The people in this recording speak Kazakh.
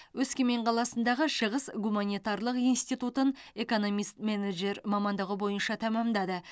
өскемен қаласындағы шығыс гуманитарлық институтын экономист менеджер мамандығы бойынша тәмамдады